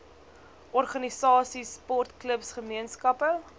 organisasies sportklubs gemeenskappe